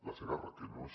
la segarra que no és